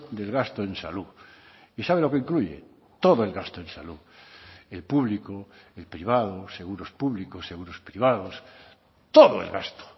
del gasto en salud y sabe lo que incluye todo el gasto en salud el público el privado seguros públicos seguros privados todo el gasto